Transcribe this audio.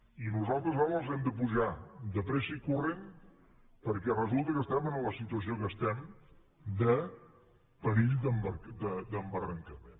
i nosaltres ara els hem de pujar de pressa i corrent perquè resulta que estem en la situació que estem de perill d’embarrancament